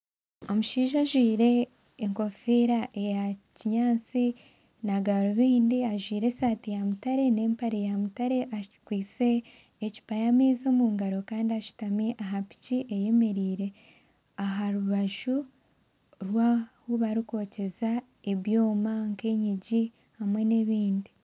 Omushaija ajwaire enkofiira eya kinyatsi na garubindi ajwaire esaati ya mutare nempare ya mutare akwaitse ecupa y'amaizi omu ngaro kandi ashutami aha piki eyemereire aha rubaju oru ahu barikwokyeza ebyoma nk'enyigi hamwe nebindi